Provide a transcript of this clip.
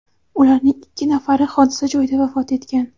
Ularning ikki nafari hodisa joyida vafot etgan.